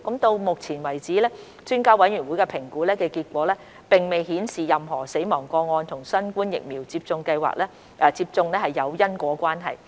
到目前為止，評估專家委員會的評估結果並未顯示任何死亡個案與新冠疫苗接種有因果關係。